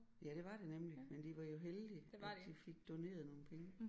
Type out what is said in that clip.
Ja det var det nemlig men de var jo heldige at de fik doneret nogle penge